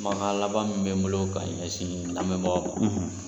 Kumakan laban min bɛ n bolo ka ɲɛsin lamɛnbagaw ma,